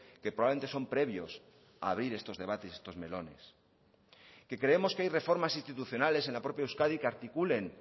que probablemente son previos a abrir estos debates estos melones que creemos que hay reformas institucionales en la propia euskadi que articulen